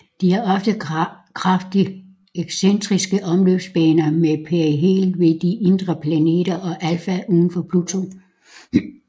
De har ofte kraftigt excentriske omløbsbaner med perihel ved de indre planeter og aphel udenfor Pluto